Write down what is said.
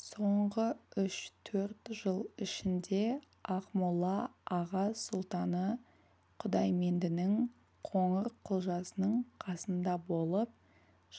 соңғы үш-төрт жыл ішінде ақмола аға сұлтаны құдайменденің қоңырқұлжасының қасында болып